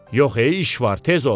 Yox ey, iş var, tez ol!